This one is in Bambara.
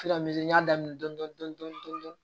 Filan dɔn